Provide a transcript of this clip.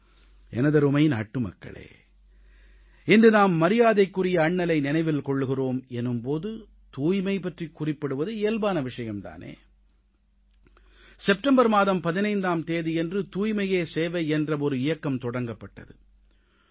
எனதருமை நாட்டுமக்களே இன்று நாம் மரியாதைக்குரிய அண்ணலை நினைவில் கொள்கிறோம் எனும் போது தூய்மை பற்றிக் குறிப்பிடுவது இயல்பான விஷயம் தானே செப்டம்பர் மாதம் 15ஆம் தேதியன்று தூய்மையே சேவை என்ற ஒரு இயக்கம் தொடங்கப்பட்டது